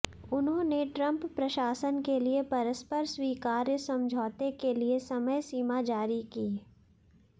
उन्होंने ट्रंप प्रशासन के लिए परस्पर स्वीकार्य समझौते के लिए समय सीमा जारी की